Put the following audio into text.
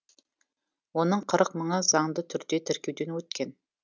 оның қырық мыңы заңды түрде тіркеуден өткен